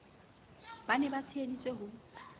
ba ne ba tsheheditse ho